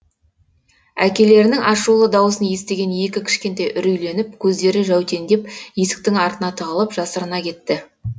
әкелерінің ашулы дауысын естіген екі кішкентай үрейленіп көздері жәутеңдеп есіктің артына тығылып жасырына кетті